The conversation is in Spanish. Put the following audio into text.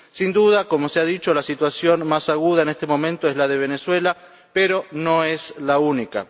Sin duda, como se ha dicho, la situación más aguda en este momento es la de Venezuela, pero no es la única.